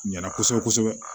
Ɲana kosɛbɛ kosɛbɛ